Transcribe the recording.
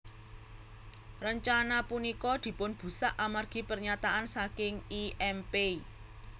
Rencana punika dipunbusak amargi pernyataan saking I M Pei